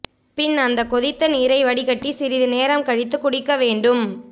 பின் அந்த கொதித்த நீரை வடிகட்டி சிறிது நேரம் கழித்து குடிக்க வேண்டும்